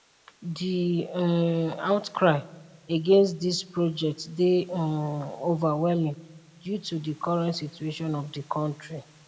di um outcry against dis project dey um overwhelming due to di current situation for di kontri